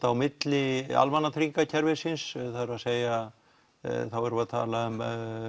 á milli almannatryggingakerfisins það er að segja þá erum við að tala um